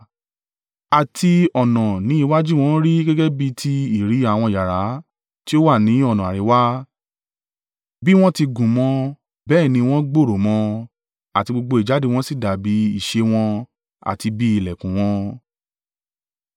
Àti ọ̀nà ni iwájú wọn rí gẹ́gẹ́ bí ti ìrí àwọn yàrá tí ó wà ní ọ̀nà àríwá bí wọ́n ti gùn mọ bẹ́ẹ̀ ni wọ́n gbòòrò mọ àti gbogbo ìjáde wọn sì dàbí ìṣe wọn àti bí ìlẹ̀kùn wọn